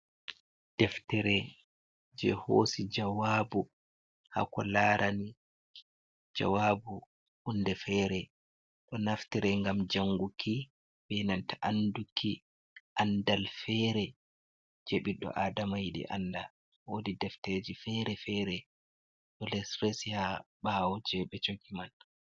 Deftere je hosi jawabu hako larani jawabu hunde fere. Ɗo naftire ngam janguki be nanta anduki andal fere je ɓiɗɗo Adama yiɗi anda. Wodi deftereji fere-fere ɗo les resi ha ɓawo je ɓe jogi man.